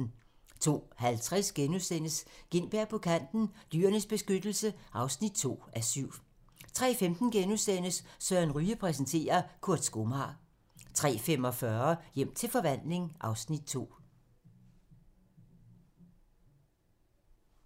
02:50: Gintberg på Kanten – Dyrenes Beskyttelse (2:7)* 03:15: Søren Ryge præsenterer - Kurt skomager * 03:45: Hjem til forvandling (Afs. 2)